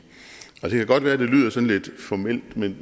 det kan godt være at det lyder sådan lidt formelt men